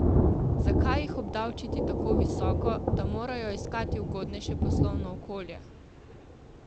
Zakaj jih obdavčiti tako visoko, da morajo iskati ugodnejše poslovno okolje?